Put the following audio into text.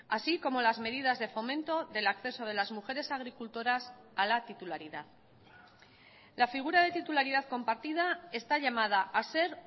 así como las medidas de fomento del acceso de las mujeres agricultoras a la titularidad la figura de titularidad compartida está llamada a ser